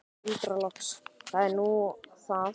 Tuldra loks: Það er nú það.